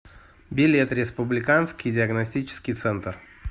билет республиканский диагностический центр